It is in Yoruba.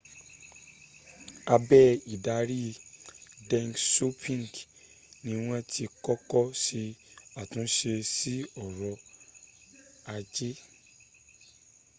abe idari deng xiaoping ni wọn ti kọ́kọ́ sẹ àtúnsẹ sí ọrọ̀ ajẹ́